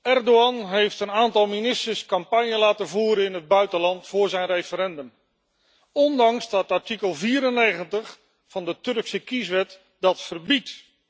Erdogan heeft een aantal ministers campagne laten voeren in het buitenland voor zijn referendum, ofschoon artikel 94 van de Turkse kieswet dat verbiedt.